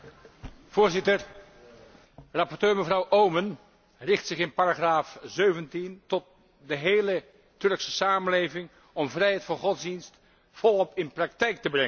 Voorzitter, rapporteur mevrouw Oomen Ruijten richt zich in paragraaf 17 tot de hele Turkse samenleving om vrijheid van godsdienst volop in praktijk te brengen.